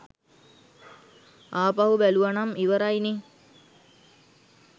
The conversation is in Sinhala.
ආපහු බැලුවනම් ඉවරයි නේ.